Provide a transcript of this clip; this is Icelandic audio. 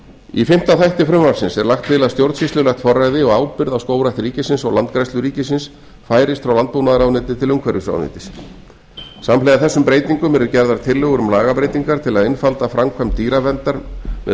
í fimmta þætti frumvarpsins er lagt til að stjórnsýslulegt forræði og ábyrgð á skógrækt ríkisins og landgræðslu ríkisins færist frá landbúnaðarráðuneyti til umhverfisráðuneytis samhliða þessum breytingum eru gerðar tillögur um lagabreytingar til að einfalda framkvæmd dýraverndar með